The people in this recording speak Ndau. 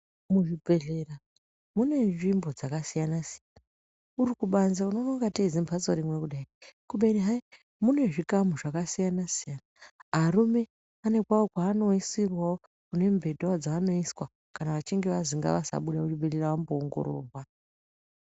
Muzvibhehlera munenzvimbo dzakasiyana-siyana. Uri kubanze unoona ingatei zimbatso rimwe kudai. Kubeni hayi, mune zvikamu zvakasiyana-siyana. Arume ane kwawo kwaanoiswawo kana achinge anzi ngavasabuda muchibhehlera amboongororwa.